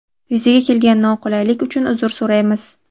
Yuzaga kelgan noqulaylik uchun uzr so‘raymiz.